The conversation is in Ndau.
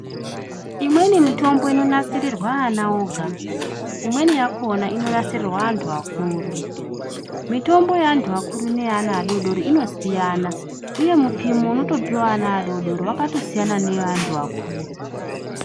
Imweni mitombo inonasirirwa ana woga . Imweni yakona inonasirirwa antu akuru . Mitombo yeantu akuru neye ana adodori inosiyana uye mupimo unotopiwa ana adodori wakatosiyana neweanhu akuru .